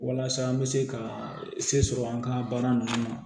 Walasa an bɛ se ka se sɔrɔ an ka baara ninnu na